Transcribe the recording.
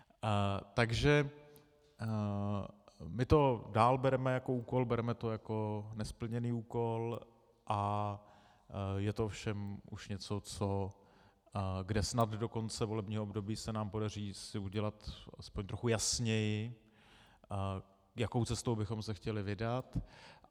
Takže my to dál bereme jako úkol, bereme to jako nesplněný úkol a je to ovšem už něco, kde snad do konce volebního období se nám podaří si udělat aspoň trochu jasněji, jakou cestou bychom se chtěli vydat.